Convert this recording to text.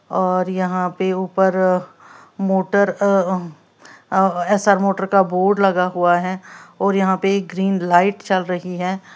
और यहां पे ऊपर मोटर एस_आर मोटर का बोर्ड लगा हुआ है और यहां पे ग्रीन लाइट जल रही है।